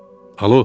Alo!